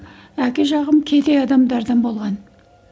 әке жағым кедей адамдардан болған